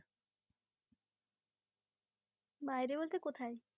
বাইরে বলতে কোথায়?